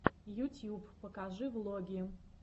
ютьюб покажи влоги